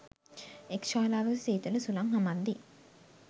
එක් ශාලාවක සීතල සුළං හමද්දී